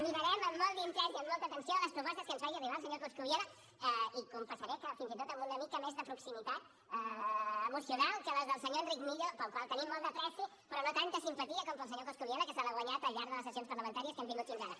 mirarem amb molt d’interès i amb molta atenció les propostes que ens faci arribar el senyor coscubiela i confessaré que fins i tot amb una mica més de proximitat emocional que les del senyor enric millo per al qual tenim molta estima però no tanta simpatia com per al senyor coscubiela que se l’ha guanyada al llarg de les sessions parlamentàries que hem tingut fins ara